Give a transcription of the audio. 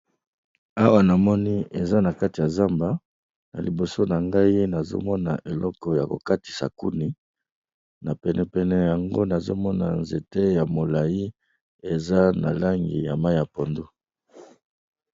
Awa namoni eza nakati ya zamba liboso na ngai nazomona eloko oyo yako katisa koni na pene pene na yango nazomona nzete moko ya molayi eza na langi ya mayi ya pondu